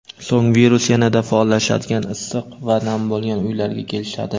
So‘ng virus yanada faollashadigan issiq va nam bo‘lgan uylariga kelishadi.